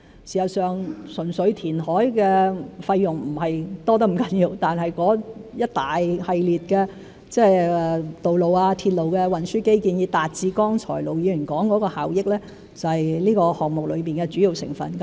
事實上，純粹填海的費用不是多得太厲害，但一系列的道路、鐵路的運輸基建以達致剛才盧議員說的效益，是這個項目中的主要成分。